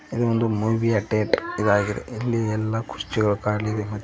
ಇದು ಒಂದು ಮೂವಿ ಯ ಥೇಟರ್ ಇದಾಗಿದೆ ಇಲ್ಲಿ ಎಲ್ಲ ಕುರ್ಚಿಗಳು ಕಾಣಲಿರಿ ಮತ್ತೆ --